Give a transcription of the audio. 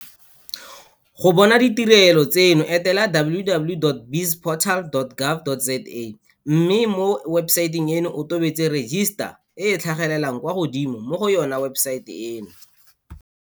Go bona ditirelo tseno etela www.bizportal.gov.za mme mo webesaeteng eno o tobetse 'register' e e tlhagelelang kwa godimo mo go yona webesaete eno.